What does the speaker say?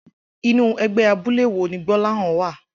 Inú e̩gbé̩ abúlé wo ni Gbó̩láhàn wa?